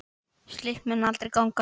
Slíkt mundi aldrei ganga.